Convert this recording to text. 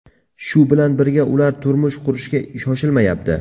Shu bilan birga, ular turmush qurishga shoshilmayapti.